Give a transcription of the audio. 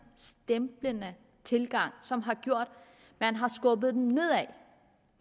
stemplende tilgang som har gjort at man har skubbet dem nedad